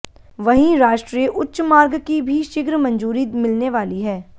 वहीं राष्ट्रीय उच्च मार्ग की भी शीघ्र मंजूरी मिलने वाली है